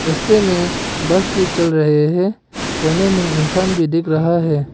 रास्ते में बस भी चल रहे हैं कोने में इंसान भी दिख रहा है।